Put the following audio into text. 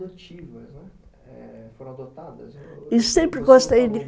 adotivas, né, foram adotadas? E sempre gostei de